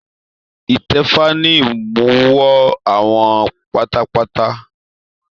Itẹfa ní imuwọ̀ awo pátápátá.